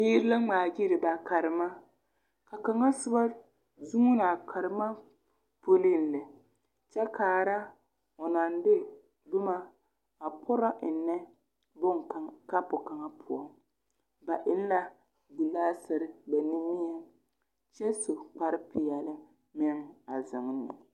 Biiri la ŋmaaɡyili ba karema a kaŋa soba zeŋ la a karema puliŋ lɛ kyɛ kaara o naŋ de boma a porɔ ennɛ kapo kaŋa poɔ ba eŋ la ɡelaasere ba nuuriŋ kyɛ su kparpeɛle meŋ a zeŋ ne.